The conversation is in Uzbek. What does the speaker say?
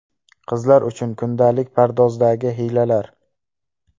Qizlar uchun kundalik pardozdagi hiylalar.